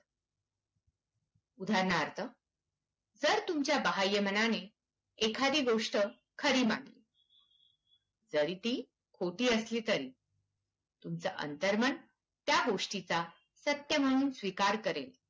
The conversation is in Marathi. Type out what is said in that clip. उदाहरणार्थ जर तुमच्या बाह्यमनाने एखादी गोष्ट खरी मानली, जरी ती खोटी असली तरी, तुमचं अंतर्मन त्या गोष्टीचा सत्य मानून स्वीकार करेल.